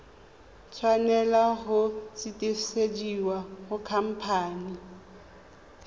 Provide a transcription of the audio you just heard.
tshwanela go sutisediwa go khamphane